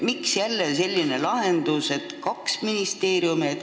Miks jälle selline lahendus, et kaks ministeeriumi?